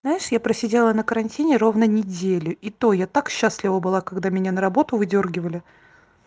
знаешь я просидела на карантине ровно неделю и то я так счастлива была когда меня на работу выдёргивали